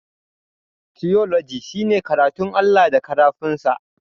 Tiyoloji shine karatun Allah da karafun sa.